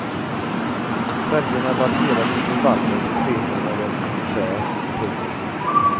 Färgerna varierar med intervaller på tre månader ungefär. punkt